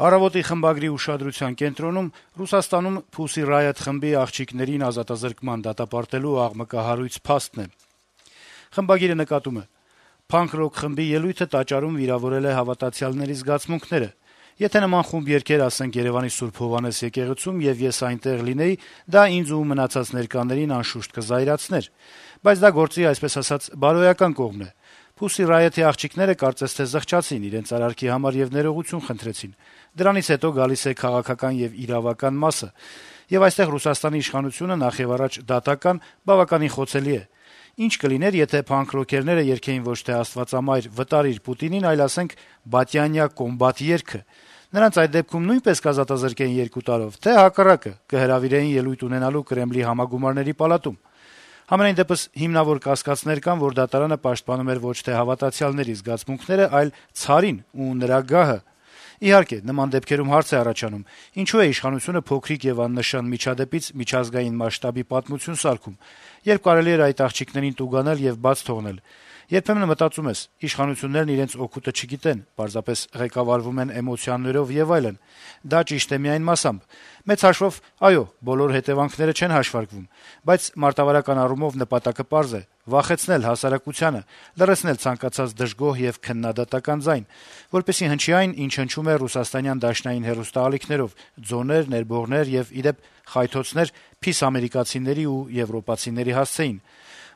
«Առավոտ»-ի խմբագրի ուշադրության կենտրոնում Ռուսաստանում Pussy Riot խմբի աղջիկներին ազատազրկման դատապարտելու աղմկահարույց փաստն է: Խմբագիրը նկատում է. - «Փանկ-ռոք խմբի «ելույթը» տաճարում վիրավորել է հավատացյալների զգացմունքները: Եթե նման խումբ երգեր, ասենք, Երեւանի Սուրբ Հովհաննես եկեղեցում, եւ ես այնտեղ լինեի, դա ինձ ու մնացած ներկաներին, անշուշտ, կզայրացներ:Բայց դա գործի, այսպես ասած, բարոյական կողմն է: Pussy Riot-ի աղջիկները, կարծես թե, զղջացին իրենց արարքի համար եւ ներողություն խնդրեցին: Դրանից հետո գալիս է քաղաքական եւ իրավական մասը, եւ այստեղ Ռուսաստանի իշխանությունը, նախեւառաջ՝ դատական, բավականին խոցելին է: Ի՞նչ կլիներ, եթե փանկ-ռոքերները երգեին ոչ թե «Աստվածամայր, վտարիր Պուտինին», այլ, ասենք, «Բատյանյա կոմբատ» երգը: Նրանց այդ դեպքում նույնպե՞ս կազատազրկեին երկու տարով, թե՞, հակառակը, կհրավիրեին ելույթ ունենալու Կրեմլի Համագումարների պալատում: Համենայնդեպս, հիմնավոր կասկածներ կան, որ դատարանը պաշտպանում էր ոչ թե հավատացյալների զգացմունքները, այլ «ցարին» ու նրա գահը:Իհարկե, նման դեպքերում հարց է առաջանում՝ ինչո՞ւ է իշխանությունը փոքրիկ եւ աննշան միջադեպից միջազգային մասշտաբի պատմություն սարքում, երբ կարելի էր այդ աղջիկներին տուգանել եւ բաց թողնել: Երբեմն մտածում ես՝ իշխանություններն իրենց օգուտը չգիտեն, պարզապես ղեկավարվում են էմոցիաներով եւ այլն: Դա ճիշտ է միայն մասամբ. մեծ հաշվով, այո, բոլոր հետեւանքները չեն հաշվարկում: Բայց մարտավարական առումով նպատակը պարզ է՝ վախեցնել հասարակությանը, լռեցնել ցանկացած դժգոհ եւ քննադատական ձայն: Որպեսզի հնչի այն, ինչ հնչում է ռուսաստանյան դաշնային հեռուստաալիքներով՝ ձոներ, ներբողներ եւ, ի դեպ, խայթոցներ «փիս» ամերիկացիների եւ եվրոպացիների հասցեին: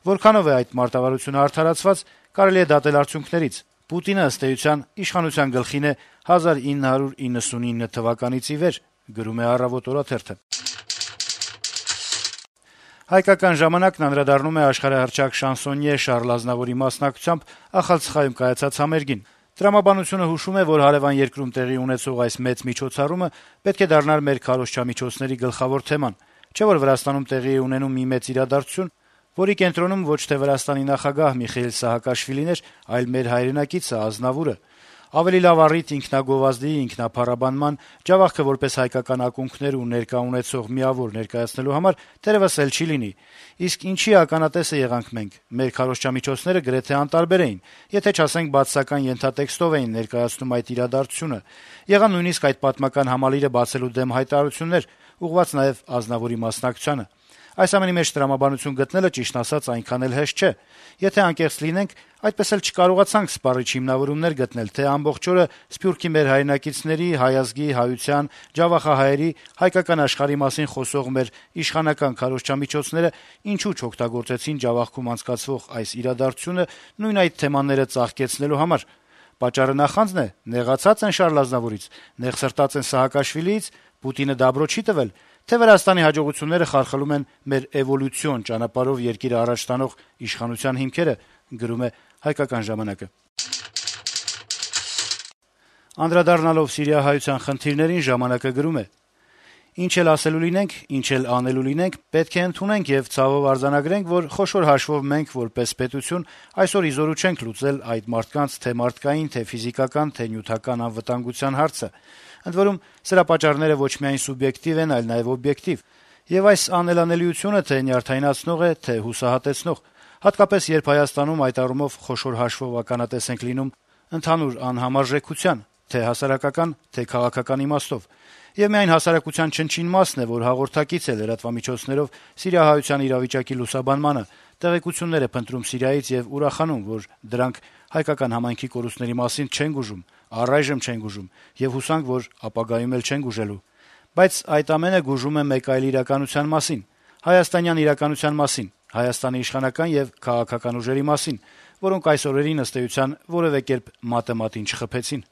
Որքանո՞վ է այդ մարտավարությունը արդարացված՝ կարելի է դատել արդյունքներից՝ Պուտինը, ըստ էության, իշխանության գլխին է 1999 թվականից ի վեր»: «Հայկական ժամանակ» թերթն անդրադառնում է աշխարհահռչակ շանսոնյե Շարլ Ազնավուրի մասնակցությամբ Ախալցխայում կայացած համերգին. - «Տրամաբանությունը հուշում է, որ հարեւան երկրում տեղի ունեցող այս մեծ միջոցառումը պետք է դառնար մեր քարոզչամիջոցների գլխավոր թեման: Չէ՞ որ Վրաստանում տեղի է ունենում մի մեծ իրադարձություն, որի կենտրոնում ոչ թե Վրաստանի նախագահ Միխեիլ Սահակաշվիլին էր, այլ մեր հայրենակիցը` Ազնավուրը: Ավելի լավ առիթ ինքնագովազդի, ինքնափառաբանման, Ջավախքը որպես հայկական ակունքներ ու ներկա ունեցող միավոր ներկայացնելու համար, թերեւս, էլ չի լինի: Իսկ ինչի ականատեսը եղանք մենք: Մեր քարոզչամիջոցները գրեթե անտարբեր էին, եթե չասենք` բացասական ենթատեքստով էին ներկայացնում այդ իրադարձությունը: Եղան նույնիսկ այդ պատմական համալիրը բացելու դեմ հայտարարություններ` ուղղված նաեւ Ազնավուրի մասնակցությանը: Այս ամենի մեջ տրամաբանություն գտնելը, ճիշտն ասած, այնքան էլ հեշտ չէ: Եթե անկեղծ լինենք` այդպես էլ չկարողացանք սպառիչ հիմնավորումներ գտնել, թե ամբողջ օրը «սփյուռքի մեր հայրենակիցների», «հայ ազգի», «հայության», ջավախահայերի», «հայկական աշխարհի» մասին խոսող մեր իշխանական քարոզչամիջոցները ինչու չօգտագործեցին Ջավախքում անցկացվող այս իրադարձությունը` նույն այդ թեմաները ծաղկեցնելու համար: Պատճառը նախա՞նձն է, նեղացա՞ծ են Շարլ Ազնավուրից, նեղսրտա՞ծ են Սահակաշվիլիից, Պուտինը «դաբրո» չի՞ տվել, թե՞ Վրաստանի հաջողությունները խարխլում են մեր «էվոլյուցիոն ճանապարհով երկիրը առաջ տանող» իշխանության հիմքերը»: Անդրադառնալով սիրիահայության խնդիրներին` «ժամանակ»-ը գրում է. - «Եվ ինչ էլ ասելու լինենք, ինչ էլ անելու լինենք, պետք է ընդունենք նաեւ եւ ցավով արձանագրենք, որ խոշոր հաշվով մենք՝ որպես պետություն, այսօր ի զորու չենք լուծել այդ մարդկանց թե´ մարդկային, թե´ ֆիզիկական, թե´ նյութական անվտանգության հարցը: Ընդ որում, սրա պատճառները ոչ միայն սուբյեկտիվ են, այլ նաեւ օբյեկտիվ: Եվ այս անելանելիությունը թե´ նյարդայնացնող է, թե´ հուսահատեցնող, հատկապես, երբ Հայաստանում, այդ առումով, խոշոր հաշվով ականատես ենք լինում ընդհանուր անհամարժեքության՝ թե´ հասարակական, թե´ քաղաքական իմաստով: Եվ միայն հասարակության չնչին մասն է, որ հաղորդակից է լրատվամիջոցներով սիրիահայության իրավիճակի լուսաբանմանը, տեղեկություններ է փնտրում Սիրիայից եւ ուրախանում, որ դրանք հայկական համայնքի կորուստների մասին չեն գուժում: Առայժմ չեն գուժում, եւ հուսանք, որ ապագայում էլ չեն գուժելու: Բայց, այդ ամենը գուժում է մեկ այլ իրականության մասին՝ հայաստանյան իրականության մասին, Հայաստանի իշխանական եւ քաղաքական ուժերի մասին, որոնք այս օրերին, ըստ էության, որեւէ կերպ մատը մատին չխփեցին»: